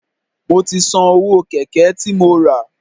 Mo ti san owó Kẹ̀kẹ́ tí mo rà.